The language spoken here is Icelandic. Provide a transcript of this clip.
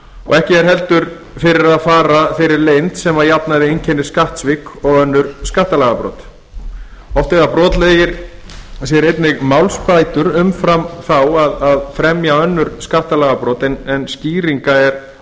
og ekki er heldur fyrir að fara þeirri leynd sem að jafnaði einkennir skattsvik og önnur skattalagabrot oft eiga brotlegir sér einnig málsbætur umfram þær að fremja önnur skattalagabrot en skýringa er